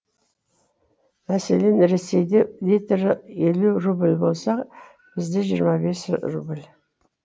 мәселен ресейде литрі елу рубль болса бізде жиырма бес рубль